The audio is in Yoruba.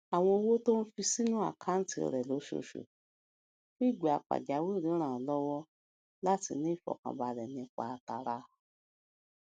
àwọn owó tó ń fi sínú àkáǹtì rè lóṣooṣù fún ìgbà pàjáwìrì ràn án lówó láti ní ìfòkànbalè nípa tara